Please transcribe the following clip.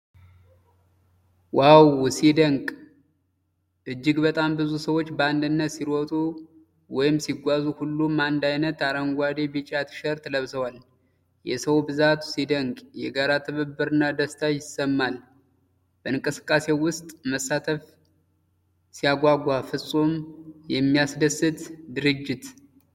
ዋው ሲያስደንቅ! እጅግ በጣም ብዙ ሰዎች በአንድነት ሲሮጡ/ሲጓዙ! ሁሉም አንድ ዓይነት አረንጓዴ/ቢጫ ቲሸርት ለብሰዋል። የሰው ብዛቱ ሲደነቅ! የጋራ ትብብርና ደስታ ይሰማል። በእንቅስቃሴው ውስጥ መሳተፍ ሲያጓጓ! ፍፁም የሚያስደስት ድርጅት!